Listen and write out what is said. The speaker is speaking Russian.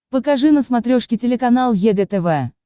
покажи на смотрешке телеканал егэ тв